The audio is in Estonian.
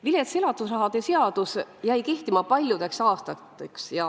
Vilets elatusrahade seadus jäi kehtima paljudeks aastateks.